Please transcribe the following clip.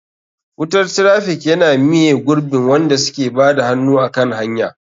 Wutar traffic yana miye gurbin wanda suke bada hannu a kan hanya.